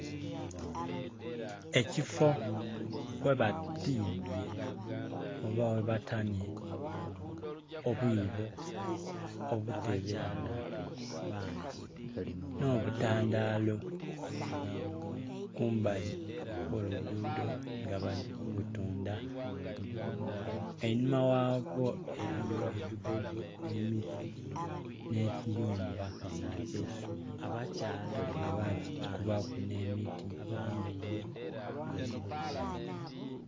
Ekifoo ghabatimbye oba ghabatanye obwiboo, obutebe n'obutandalo kumbali okw'olugudo nga bali kubutunda, einhuma ghaibwo eriyo ebigogo n'emiti, n'ekiyumba ekyeisubi nga bakikubaku n'emiti.